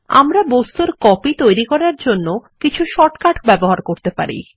আমরা বস্তুর কপি তৈরী করার জন্য কিছু শর্ট কাট ব্যবহার করতে পারি